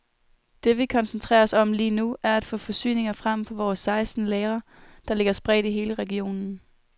Det vi koncentrerer os om lige nu, er at få forsyninger frem fra vores seksten lagre, der ligger spredt i hele regionen.